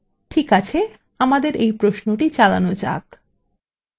ঠিক আছে আমাদের এই প্রশ্নটি চালানো যাক